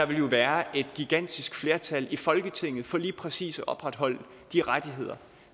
vil være et gigantisk flertal i folketinget for lige præcis at opretholde de rettigheder